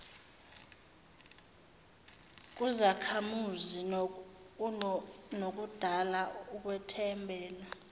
kuzakhamuzi nokudala ukwethembela